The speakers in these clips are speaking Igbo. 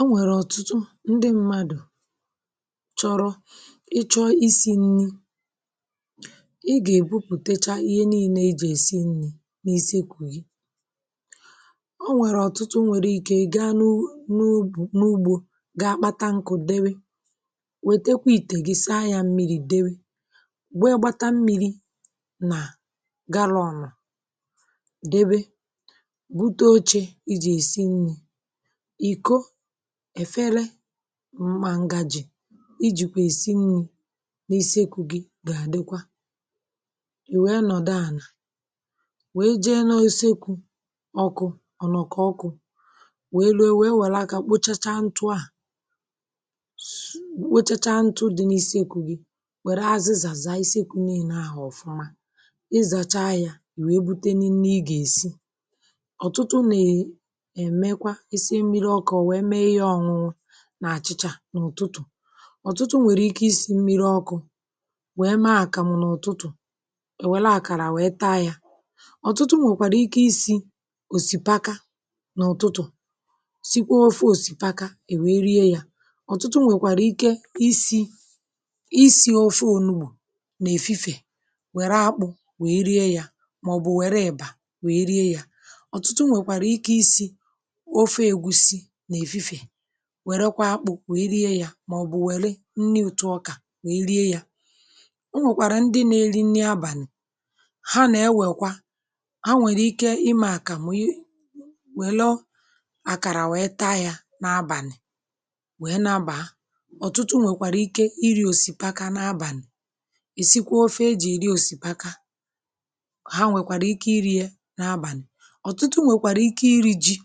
ọ nwẹ̀rẹ̀ ọ̀tụtụ ndị mmadụ̀ chọrọ ị chọ i si nni̇ i gà èbupùtecha ihe nii̇nė i jì èsi nni̇ n’isi ekwù gị ọ nwẹ̀rẹ̀ ọ̀tụtụ nwẹ̀rẹ̀ ike gaa n’ugbȯ n’ugbȯ gaa akpata nkụ̀ dewe wètekwa ìtè gị saa yȧ mmiri̇ dewe gwe gbata mmiri̇ nà galọnụ̀ dewe bute oche i jì èsi nni̇ èfere mma ǹgàjì i jìkwà èsi n’isi iku̇ gị um gà-àdịkwa i wèe nọ̀dụ ànà wèe jee n’ọsekwu̇ ọkụ̇ ọ̀nọ̀kọ̀ ọkụ̇ wèe lee wère akȧ kpụchacha ntụ̇ a kpụchacha ntụ̇ dị̇ n’isi iku̇ gị̇ wère azịzàzà iseku̇ n’ìnà ahụ̀ ọ̀fụma ịzàcha yȧ wèe bute nille ị gà-èsi isi mmiri ọkụ̇ wèe mee ihe drink ọ̇ṅụṅụ n’àchịchà n’ụ̀tụtụ̀ ọ̀tụtụ nwèrè ike isi̇ mmiri ọkụ̇ wèe mee àkàmụ̀ n’ụ̀tụtụ̀ èwela àkàrà wèe taa yȧ ọ̀tụtụ nwèkwàrà ike isi̇ òsìpaka n’ụ̀tụtụ̀ sikwa ofe òsìpaka èwèe rie yȧ ọ̀tụtụ nwèkwàrà ike isi̇ isi̇ ofe onugbù nà-èfifè wère akpụ̇ wèe rie yȧ màọbụ̇ wère ị̀bà wèe rie yȧ wère kwa akpụ̀ wee rie yȧ màọ̀bụ̀ wère nni òtù ọkà wee rie yȧ o nwèkwàrà ndị n’eli nni abànị̀ ha nà-ewèkwa ha nwèrè ike imė àkà màụyị welọ àkàrà wee taa yȧ n’abàlị̀ wee nabàa ọ̀tụtụ nwèkwàrà ike iri̇ òsìpaka n’abàlị̀ ìsikwa ofe e jì ìri òsìpaka ha nwèkwàrà ike iri̇ ye n’abàlị̀ ọ̀tụtụ nwèkwàrà ike iri̇ ji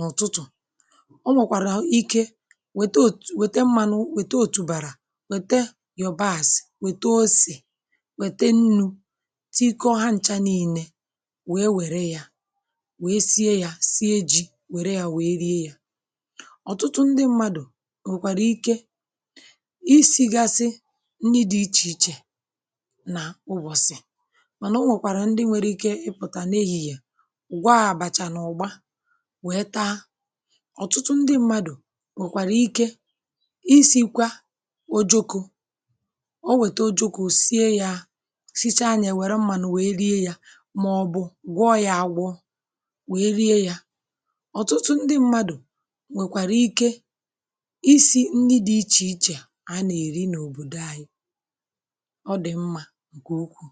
n’ụ̀tụtụ̀ um o nwèkwàrà ike wète òtù wète mmȧnụ̇ wète òtùbàrà wète yȧ bars wète osì wète nnu̇ tiko ha ncha n’ile wète wère yȧ wète sie yȧ sie ji̇ wère yȧ wète rie yȧ ọ̀tụtụ ndị mmadụ̀ nwèkwàrà ike isi̇gȧsị ndị dị̇ ichè ichè nà ụbọ̀sị̀ mànà o nwèkwàrà ndị nwere ike ịpụ̀tà n’ehì yà nwe taa ọtụtụ ndị mmadụ̀ nwekwara ike isikwa o joko o wete o joko sie yaa sicha anyị nwere mmadụ̀ wee rie ya màọ̀bụ̇ gwọ ya agwọ wee rie ya ọtụtụ ndị mmadụ̀ nwekwara ike isi ndị dị iche iche a na-eri n’obodo anyị ọ dị̀ mma gukwu